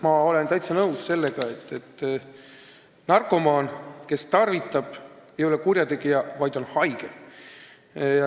Ma olen täitsa nõus, et narkomaan, kes tarvitab, ei ole kurjategija, vaid on haige.